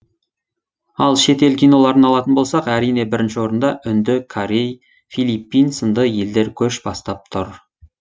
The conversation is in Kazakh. ал шет ел киноларын алатын болсақ әрине бірінші орында үнді корей филиппин сынды елдер көш бастап тұр